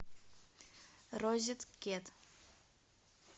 розеткед